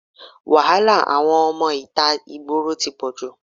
Wàhálà àwọn ọmọ ìta ìgboro tí pọ̀jù.